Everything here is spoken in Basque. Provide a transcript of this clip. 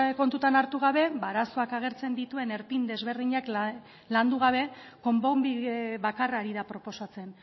kontutan hartu gabe ba arazoak agertzen dituen erpin desberdinak landu gabe konponbide bakarra ari da proposatzen